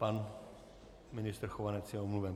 Pan ministr Chovanec je omluven.